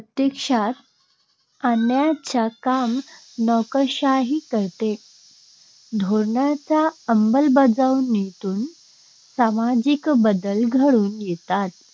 प्रत्यक्षात आणण्याचे काम नोकरशाही करते. धोरणांच्या अंमलबजावणीतून सामाजिक बदल घडून येतात.